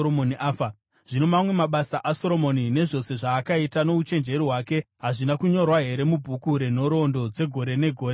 Zvino mamwe mabasa aSoromoni, nezvose zvaakaita nouchenjeri hwake, hazvina kunyorwa here mubhuku renhoroondo dzegore negore dzaSoromoni?